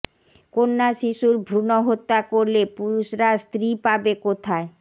কন্যা শিশুর ভ্রুণ হত্যা করলে পুরুষরা স্ত্রী পাবে কোথায়